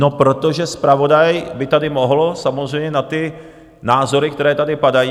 No protože zpravodaj by tady mohl samozřejmě na ty názory, které tady padají...